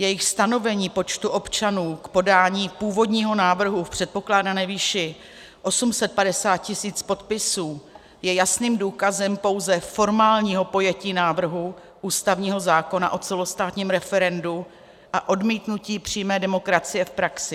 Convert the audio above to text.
Jejich stanovení počtu občanů k podání původního návrhu v předpokládané výši 850 tisíc podpisů je jasným důkazem pouze formálního pojetí návrhu ústavního zákona o celostátním referendu a odmítnutí přímé demokracie v praxi.